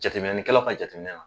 Jateminɛlikɛlaw ka jate la